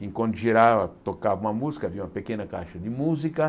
E quando girava, tocava uma música, havia uma pequena caixa de música.